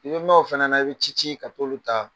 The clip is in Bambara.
I bɛ mɛ o fana na i bɛ ci ci ka k'o luta